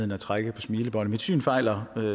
med at trække på smilebåndet mit syn fejler